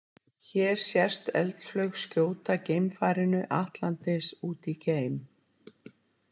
Hér sést eldflaug skjóta geimfarinu Atlantis út í geim.